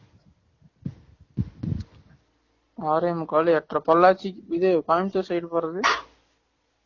ஆறே முக்கால் எட்டர பொள்ளாச்சி இது கோயம்புத்தூர் side போறது